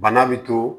Bana bɛ to